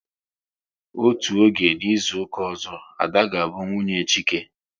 Otú oge a n'izuka ọzọ, Ada ga bụ nwunye Chike